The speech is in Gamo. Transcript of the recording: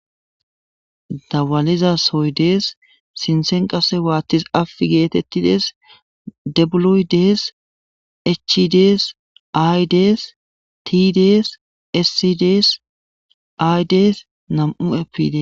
dawaliza soy dees sinthen qase waattis af geetettides dabuluy, dees echidees, ay dees ti, dees, essi dees ay dees nam7u eppde.